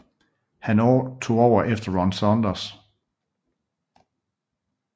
Han tog over efter Ron Saunders